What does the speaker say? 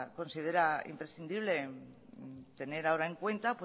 considera imprescindible tener ahora en cuenta